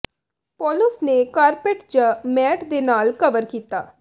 ਪੌਲੁਸ ਨੇ ਕਾਰਪੈਟ ਜ ਮੈਟ ਦੇ ਨਾਲ ਕਵਰ ਕੀਤਾ